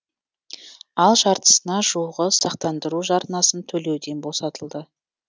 ал жартысына жуығы сақтандыру жарнасын төлеуден босатылды